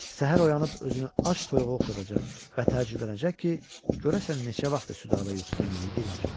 Səhər oyanıb özünü ac toyuğa oxşadacaq və təəccüblənəcək ki, görəsən neçə vaxtdır Südabə yuxusuna niyə girmir?